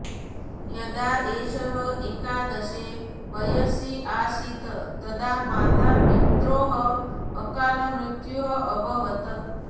यदा एषः एकादशे वयसि आसीत् तदा मातापित्रोः अकालमृत्युः अभवत्